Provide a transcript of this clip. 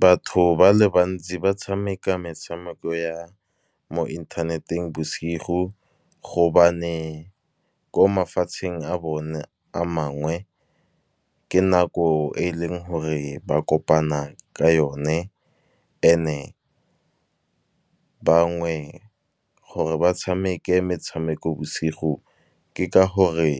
Batho ba le bantsi ba tshameka metshameko ya mo inthaneteng bosigo. Gobane ko mafatsheng a bone a mangwe, ke nako e e leng gore ba kopana ka yone and bangwe gore ba tshameke metshameko bosigo, ke ka gore